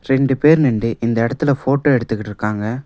ரெண்டு பேரு நின்டு இந்த இடத்தில ஃபோட்டோ எடுத்துகிட்டுருக்காங்க.